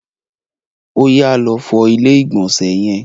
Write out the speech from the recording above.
Oyà, lọ fọ ilé ìgbọ̀nsẹ̀ yẹn!